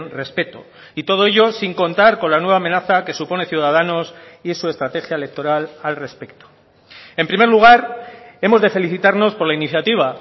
respeto y todo ello sin contar con la nueva amenaza que supone ciudadanos y su estrategia electoral al respecto en primer lugar hemos de felicitarnos por la iniciativa